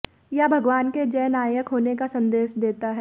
यह भगवान के जननायक होने का संदेश देता है